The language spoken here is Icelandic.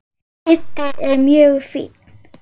Kiddi er mjög fínn.